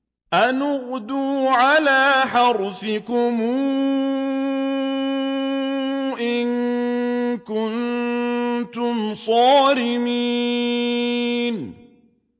أَنِ اغْدُوا عَلَىٰ حَرْثِكُمْ إِن كُنتُمْ صَارِمِينَ